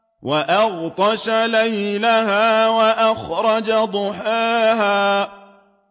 وَأَغْطَشَ لَيْلَهَا وَأَخْرَجَ ضُحَاهَا